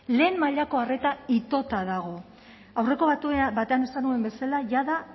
lehen mailako arreta itota dago aurreko batean esan nuen bezala jada